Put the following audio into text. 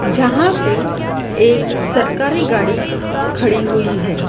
यहां पे एक सरकारी गाड़ी खड़ी हुई है।